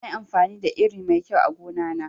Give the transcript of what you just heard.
Nayi amfani da iri mai kyau a gona na